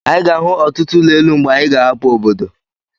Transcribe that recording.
Anyị ga-ahụ ọtụtụ ụlọ elu mgbe anyi ga-ahapụ obodo.